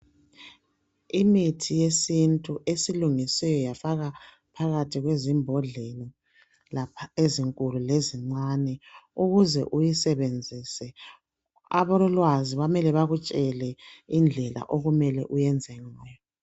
Imithi yesiNtu esilungiswe yafakwa phakathi kwezimbodlela lapha ezinkulu lezincane ukuze uyisebenzise, abalolwazi bamele bakutshele indlela okumele uyenze ngayo.